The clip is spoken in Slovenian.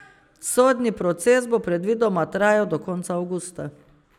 Sodni proces bo predvidoma trajal do konca avgusta.